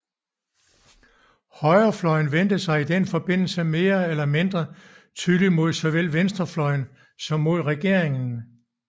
Højrefløjen vendte sig i den forbindelse mere eller mindre tydeligt mod såvel venstrefløjen som mod regeringen